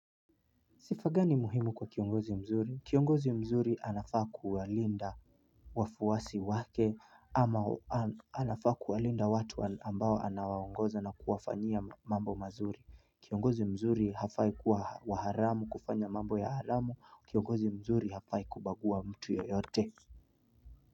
Sifa gani muhimu kwa kiongozi mzuri? Kiongozi mzuri anafaa kuwalinda wafuwasi wake ama anafaa kuwalinda watu ambao anawaongoza na kuwafanyia mambo mazuri. Kiongozi mzuri hafai kuwa wa haramu kufanya mambo ya haramu. Kiongozi mzuri hafai kubaguwa mtu yoyote.